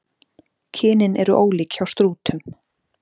Kynin eru ólík hjá strútum.